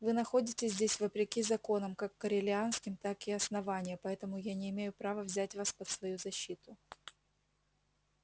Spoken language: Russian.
вы находитесь здесь вопреки законам как корелианским так и основания поэтому я не имею права взять вас под свою защиту